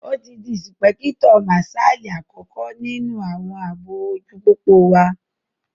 Ó ti di ìsìpẹ́kítọ̀ màsálì àkọ́kọ́ ní inú àwọn àbò ojú pópó wa